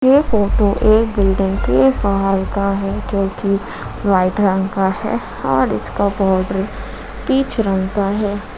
ये फोटो एक बिल्डिंग के बाहर का है जोकि वाइट रंग का है और इसका बॉर्डर पीच रंग का है।